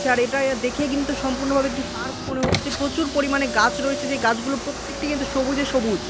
আচ্ছা এটা ইয়া দেখেই কিন্তু সম্পূর্ণ ভাবে একটি পার্ক মনে হচ্ছে প্রচুর পরিমানে গাছ রয়েছে যেই গাছগুলো প্রত্যেকটি কিন্তু সবুজে সবুজ।